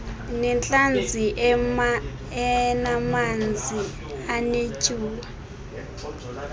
nentlanzi enamanzi anetyuwa